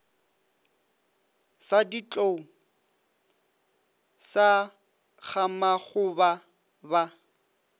sa ditlou sa gamakgoba ba